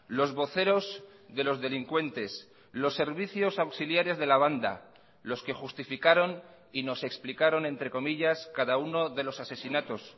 los voceros de los delincuentes los servicios auxiliares de la banda los que justificaron y nos explicaron entre comillas cada uno de los asesinatos